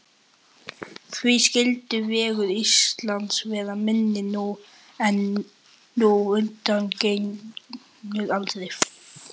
Því skyldi vegur Íslands verða minni nú en undangengnar aldir?